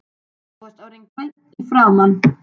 Þú varst orðinn grænn í framan.